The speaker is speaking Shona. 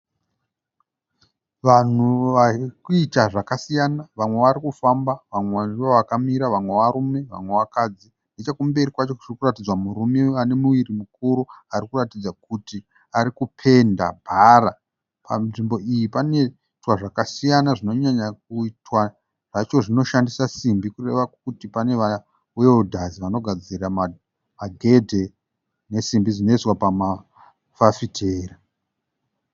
Vanhu vari kuita zvakasiyana. Vamwe vari kufamba, vamwe ndovakamira, vamwe varume, vamwe vakadzi. Nechekumberi kwacho tiri kuratinzwa murume ane muviri mukuru ari kuratidza kuti ari kupenda bhara. Panzvimbo iyi panoitwa zvakasiyana, zvinyanyokuitwa zvacho zvinoshandisa simbi kureva kuti pane maweredhazi anogadzira magedhe nesimbi dzinoiswa pamafafitera.